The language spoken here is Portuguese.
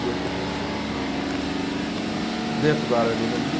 E hoje estou com uma empresa minha, dentro da área agronomia,